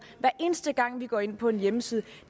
hver eneste gang vi går ind på en hjemmeside